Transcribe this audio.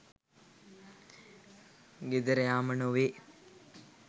ගෙදර යාම නොවේ